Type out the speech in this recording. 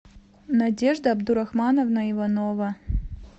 надежда абдурахмановна иванова